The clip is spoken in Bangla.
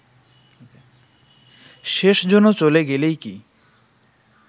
শেষজনও চলে গেলেই কি